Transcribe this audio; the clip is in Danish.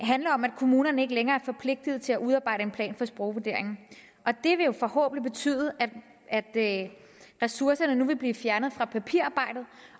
handler om at kommunerne ikke længere er forpligtet til at udarbejde en plan for sprogvurderingen og det vil jo forhåbentlig betyde at at ressourcerne nu vil blive fjernet fra papirarbejdet